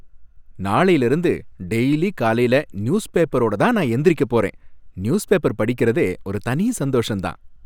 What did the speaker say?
நாளைல இருந்து டெய்லி காலைல நியூஸ் பேப்பரோட தான் நான் எந்திரிக்க போறேன். நியூஸ் பேப்பர் படிக்கிறதே ஒரு தனி சந்தோஷம் தான்!